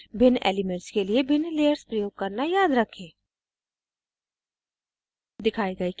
एक बार फिर भिन्न elements के लिए भिन्न layers प्रयोग करना याद रखें